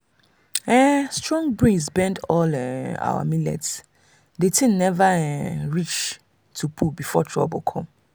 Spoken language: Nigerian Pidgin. um strong breeze bend all um our millet the thing never um even reach to pull before trouble come.